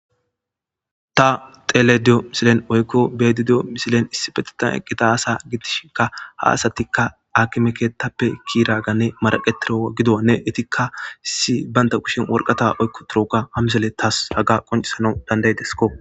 ta tele diyo misilen oykko beedi diyo misilen issibetitan eqqita asa gitishinka ha asatikka akimekeettappe kiraganne maraqetiro gidonne itikka issi baynta kushin worqata oykko turoka hamisele taas haga qoncisanau dandaydesko